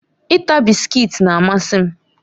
Ita bisikiiti na-amasị m